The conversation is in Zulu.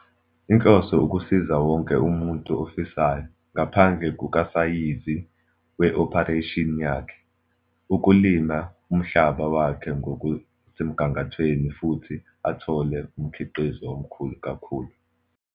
Inhloso ukusiza wonke umuntu ofisayo, ngaphandle kukasayizi we-operation yakhe, ukulima umhlaba wakhe ngokusemgangathweni futhi athole umkhiqizo omkhulu kakhulu.